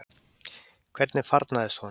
Hvernig farnaðist honum?